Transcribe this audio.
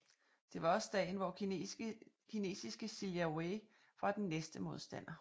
Det var også dagen hvor kinesiske Sijia Wei var den næste modstander